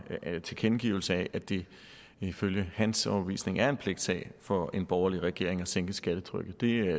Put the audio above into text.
tilkendegivelser af at det ifølge hans overbevisning er en pligtsag for en borgerlig regering at sænke skattetrykket det